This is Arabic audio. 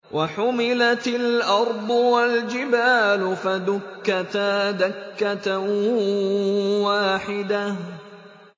وَحُمِلَتِ الْأَرْضُ وَالْجِبَالُ فَدُكَّتَا دَكَّةً وَاحِدَةً